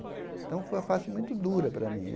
Então, foi uma fase muito dura para mim.